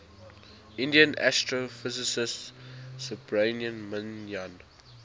indian astrophysicist subrahmanyan